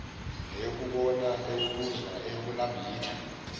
neyokubona eyokuzwa eyokunambitha